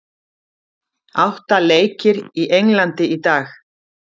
Átta leikir í Englandi í dag